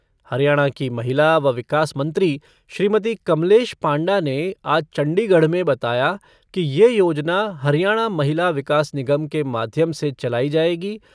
हरियाणा की महिला व विकास मंत्री श्रीमती कमलेश पांडा ने आज चंडीगढ़ में बताया कि यह योजना हरियाणा महिला विकास निगम के माध्यम से चलाई जाएगी